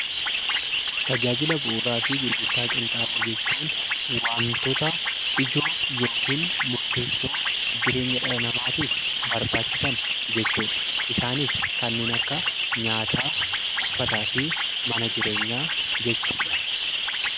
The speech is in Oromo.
Tajaajila bu'uuraa fi gurgurtaa qinxaaboo jechuun waantota ijoo (murteessoo) jireenya dhala namaatiif barbaachisan jechuu dha. Isaanis kanneen akka nyaataa, uffataa fi mana jireenyaa jechuu dha.